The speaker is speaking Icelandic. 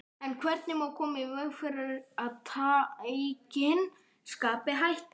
En hvernig má koma í veg fyrir að tækin skapi hættu?